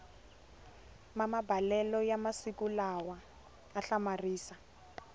mamabalelo ya masiku lawa a hlamarisa